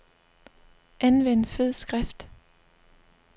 Anvend fed skrift.